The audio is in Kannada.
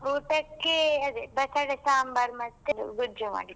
ಊಟಕ್ಕೆ ಅದೇ ಬಟಾಟೆ ಸಾಂಬಾರ್, ಮತ್ತೆ ಗೊಜ್ಜು ಮಾಡಿದ್ರು.